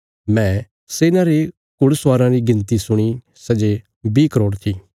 मैं सेना रे घुड़स्वाराँ री गिणती सुणी सै जे बीह करोड़ थी